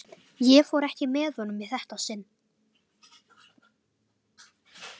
Ég fór ekki með honum í þetta sinn.